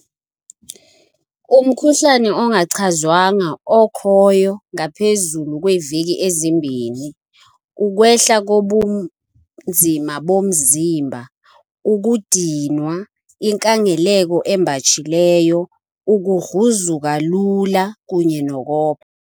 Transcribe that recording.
Umkhuhlane ongachazwanga okhoyo ngaphezulu kweeveki ezimbini, ukwehla kobunzima bomzimba, ukudinwa, inkangeleko embatshileyo, ukugruzuka lula kunye nokopha.